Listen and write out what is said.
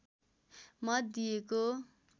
मत दिएको